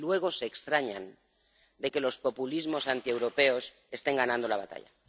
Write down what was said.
Y luego se extrañan de que los populismos antieuropeos estén ganando la batalla.